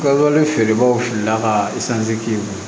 Kawale feerebagaw filila ka